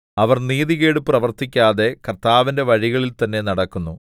അവർ നീതികേട് പ്രവർത്തിക്കാതെ കർത്താവിന്റെ വഴികളിൽതന്നെ നടക്കുന്നു